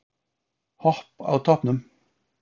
Hopp á toppnum